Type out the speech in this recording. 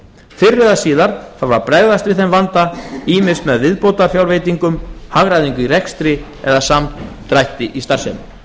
fyrr eða síðar þarf að bregðast við þeim vanda ýmist með viðbótarfjárveitingum hagræðingu í rekstri eða samdrætti í starfsemi